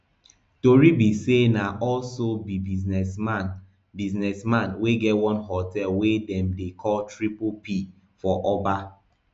tori be say na also be businessman businessman wey get one hotel wey dem dey call triple p for oba